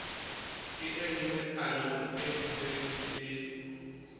kenngwe melaong e nseng e